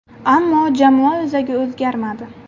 Ammo jamoa o‘zagi o‘zgarmadi.